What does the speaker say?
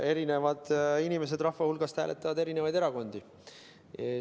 Erinevad inimesed rahva hulgast hääletavad eri erakondade poolt.